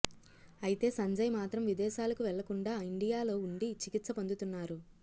అయితే సంజయ్ మాత్రం విదేశాలకు వెళ్లకుండా ఇండియాలో ఉండి చికిత్స పొందుతున్నారు